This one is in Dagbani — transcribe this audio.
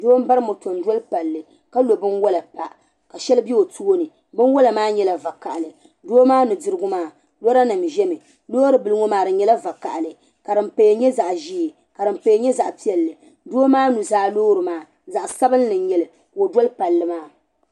Doo. mbari motɔ. n doli palli kalo biwala n pa ka shɛli be o tooni. binwala maa nyela. va kahili. doo. maa nudirigu maa lɔranim. zami loori biliŋɔ maa. di nyala. vakahili. ka dim paya. nyɛ. zaɣ' zee. kadim. paya zaɣ' piɛlli. doo maa. nuzaa. loori maa zaɣi. sabinli. n. nyɛli. ka ɔ doli palli maa.